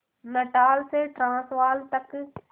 Natal से Transvaal तक